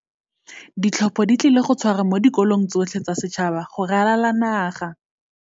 Ditlhopho di tlile go tshwarwa mo dikolong tsotlhe tsa setšhaba go ralala naga.